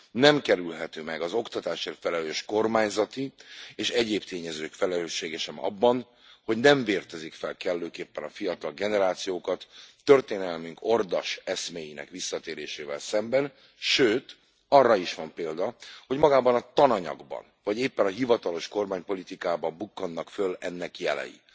Nem kerülhető meg az oktatásért felelős kormányzati, és egyéb tényezők felelőssége sem abban, hogy nem vértezik fel kellőképpen a fiatal generációkat történelmünk ordas eszméinek visszatérésével szemben, sőt arra is van példa, hogy magában a tananyagban, vagy éppen a hivatalos kormánypolitikában bukkannak föl ennek jelei.